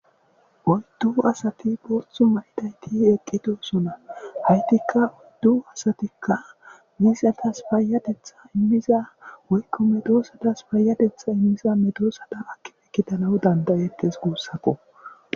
oyddu asati boothu maydayti eqqitosona haytikka oyddu asatikka misetas faayatetha immiza woykko medoosadas paayadetha immiza medoosada akife kitalawu dandayekkes guussakko